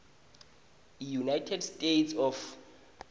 eunited states of